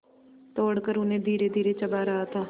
तोड़कर उन्हें धीरेधीरे चबा रहा था